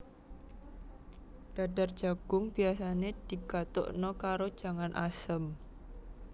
Dadar jagung biasane digatukna karo jangan asem